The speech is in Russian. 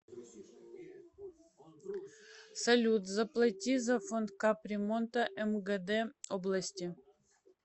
салют заплати за фонд кап ремонта мгд области